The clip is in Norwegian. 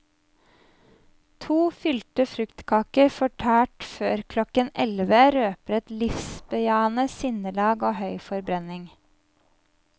To fylte fruktkaker fortært før klokken elleve røper et livsbejaende sinnelag og høy forbrenning.